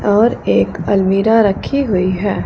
और एक अलमीरा रखी हुई है।